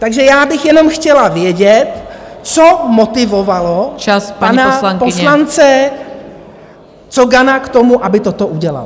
Takže já bych jenom chtěla vědět , co motivovalo pana poslance Cogana k tomu, aby toto udělal.